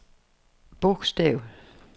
bogstav